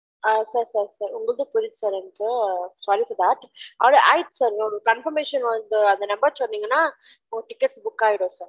அ sir sir sir உங்கல்து புரிது sir எனகு. sorry for that அவ்லொதான் ஆய்ருசு sir confirmation வருது அந்த number சொன்னிங்கன உங்க ticket book ஆய்ரும் sir